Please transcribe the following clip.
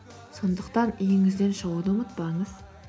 сондықтан үйіңізден шығуды ұмытпаңыз